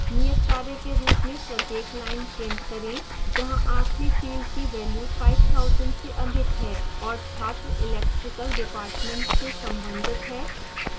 नियतकार्य के रूप में प्रत्येक line print करें जहाँ आखिरी field की value 5000 से अधिक है और छात्र electrical department से संबंधित है